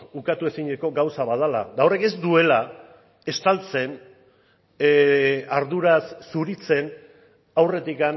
ukatu ezineko gauza bat dela eta horrek ez duela estaltzen arduraz zuritzen aurretik